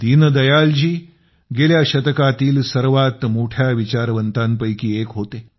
दीनदयाल जी गेल्या शतकातील सर्वात मोठ्या विचारवंतांपैकी एक होते